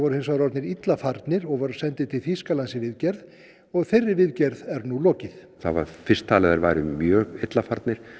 hins vegar orðnir illa farnir og voru sendir til Þýskalands í viðgerð og þeirri viðgerð er nú lokið það var fyrst talið að þeir væru mjög illa farnir